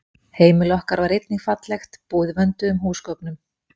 Heimili okkar var einnig fallegt, búið vönduðum húsgögnum.